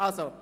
– Nein.